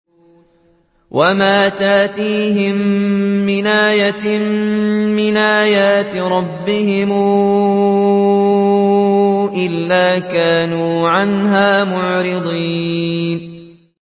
وَمَا تَأْتِيهِم مِّنْ آيَةٍ مِّنْ آيَاتِ رَبِّهِمْ إِلَّا كَانُوا عَنْهَا مُعْرِضِينَ